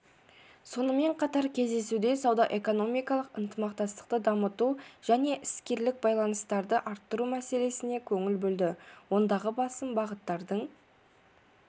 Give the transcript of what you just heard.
сонымен қатар кездесуде сауда-экономикалық ынтымақтастықты дамыту және іскерлік байланыстарды арттыру мәселесіне көңіл бөлді ондағы басым бағыттардың